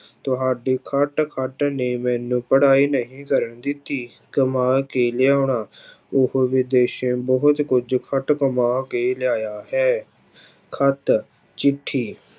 ਤੁਹਾਡੀ ਖੱਟ ਖੱਟ ਨੇ ਮੈਨੂੰ ਪੜ੍ਹਾਈ ਨਹੀਂ ਕਰਨ ਦਿੱਤੀ, ਕਮਾ ਕੇ ਲਿਆਉਣਾ ਉਹ ਵਿਦੇਸ਼ੋਂ ਬਹੁਤ ਕੁੱਝ ਖੱਟ ਕਮਾ ਕੇ ਲਿਆਇਆ ਹੈ, ਖੱਤ ਚਿੱਠੀ